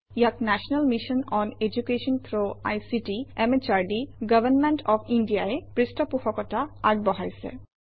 ইয়াক national mission on education through ICT MHRD government of India ই পৃষ্ঠপোষকতা আগবঢ়াইছে